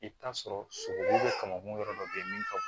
I bɛ t'a sɔrɔ sogo kama kun yɔrɔ dɔ be yen min ka